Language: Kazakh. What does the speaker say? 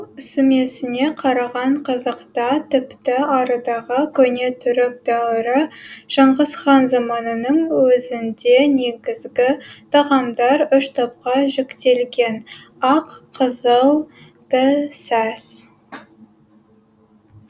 сүмесіне қараған қазақта тіпті арыдағы көне түрік дәуірі шыңғыс хан заманының өзінде негізгі тағамдар үш топқа жіктелген ақ қызыл пісәс